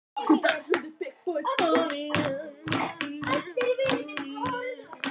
Ekkert óheilnæmt á erindi í húsið.